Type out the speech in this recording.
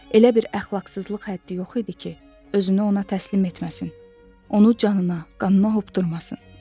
Elə bir əxlaqsızlıq həddi yox idi ki, özünü ona təslim etməsin, onu canına, qanına hopdurmasın.